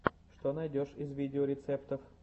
что найдешь из видеорецептов